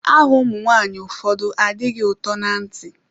Aha ụmụ nwaanyị ụfọdụ adịghị ụtọ na ntị.